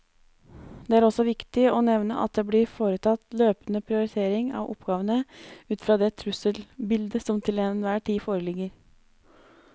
Det er også viktig å nevne at det blir foretatt løpende prioritering av oppgavene ut fra det trusselbildet som til enhver tid foreligger.